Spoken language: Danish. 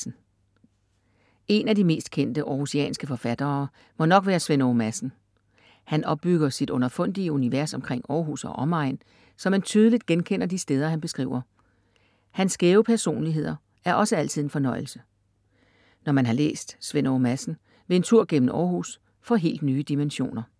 En af de mest kendte århusianske forfattere må nok være Svend Åge Madsen. Han opbygger sit underfundige univers omkring Århus og omegn, så man tydeligt genkender de steder han beskriver. Hans skæve personligheder er også altid en fornøjelse. Når man har læst Svend Åge Madsen, vil en tur gennem Århus få helt nye dimensioner.